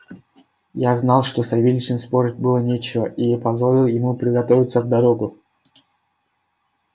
я знал что с савельичем спорить было нечего и позволил ему приготовляться в дорогу